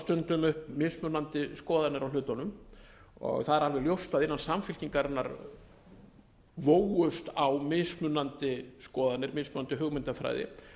stundum upp mismunandi skoðanir á hlutunum það er alveg ljóst að innan samfylkingarinnar vógust á mismunandi skoðanir mismunandi hugmyndafræði